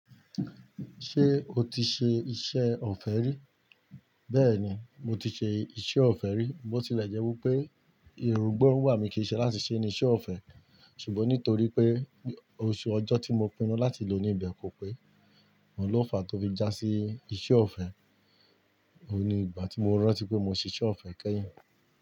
Ṣé o ti ṣe iṣẹ́ ọ̀fẹ́ rí? Bẹ́ẹ̀ni, mo ti ṣe iṣẹ́ ọ̀fẹ́ rí. Bo tì lẹ̀ jẹ́ wí pé irùngbọ́rùwà mi kì í ṣe láti ṣíṣe ní iṣẹ́ ọ̀fẹ́. Ṣùgbọ́n nítorí pé oṣù ọjọ́ tí mo pinnu láti lò ní ìbẹ̀ kò pé, òun ló fàá tó fi jásí iṣẹ́ ọ̀fẹ́. O ni ìgbà tí mo rántí pé mo ṣíṣe ọ̀fẹ́ kẹ́yìn.